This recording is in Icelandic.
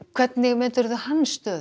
hvernig metur þú stöðu